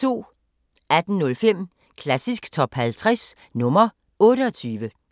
18:05: Klassisk Top 50 – nr. 28